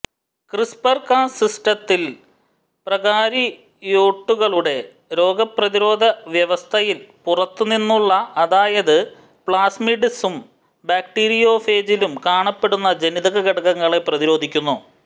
CRISPR-Cas സിസ്റ്റത്തിൽ പ്രോകാരിയോട്ടുകളുടെ രോഗപ്രതിരോധവ്യവസ്ഥയിൽ പുറത്തുനിന്നുള്ള അതായത് പ്ലാസ്മിഡ്സിലും ബാക്ടീരിയോഫേജിലും കാണപ്പെടുന്ന ജനിതക ഘടകങ്ങളെ പ്രതിരോധിക്കുന്നു